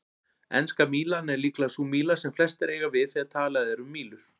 Enska mílan er líklega sú míla sem flestir eiga við þegar talað er um mílur.